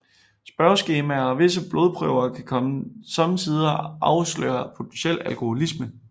Spørgeskemaer og visse blodprøver kan somme tider afsløre potentiel alkoholisme